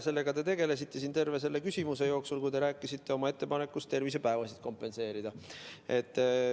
Sellega te tegelesite terve selle küsimuse jooksul, kui te rääkisite oma ettepanekust haiguspäevi kompenseerida.